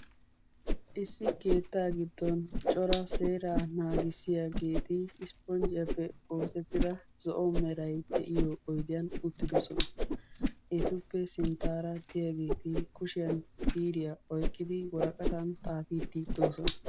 issi keetta coraa seeraa naagissiyaageeti isponjiyappe oosetida zo''o meray de'iyo oydiyan uttidoosona. etuppe sinttaara diyaageeti kushiyan biiriya oyqqidi woraqatan xaafidi doosona.